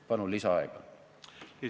Palun lisaaega!